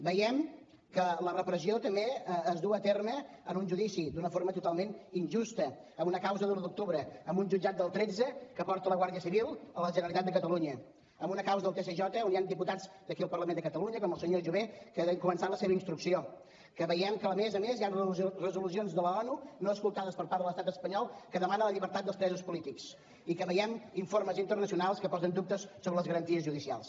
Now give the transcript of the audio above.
veiem que la repressió també es du a terme en un judici d’una forma totalment injusta en una causa de l’un d’octubre en un jutjat del tretze que porta la guàrdia civil a la generalitat de catalunya en una causa del tsj on hi han diputats d’aquí el parlament de catalunya com el senyor jové que han començat la seva instrucció que veiem que a més a més hi han resolucions de l’onu no escoltades per part de l’estat espanyol que demanen la llibertat dels presos polítics i que veiem informes internacionals que posen dubtes sobre les garanties judicials